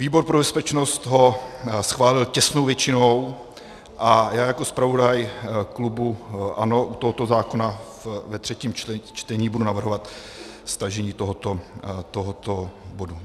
Výbor pro bezpečnost ho schválil těsnou většinou a já jako zpravodaj klubu ANO u tohoto zákona ve třetím čtení budu navrhovat stažení tohoto bodu.